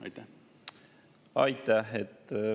Aitäh!